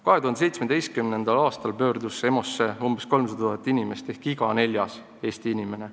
2017. aastal pöördus EMO-sse umbes 300 000 inimest ehk iga neljas Eesti inimene.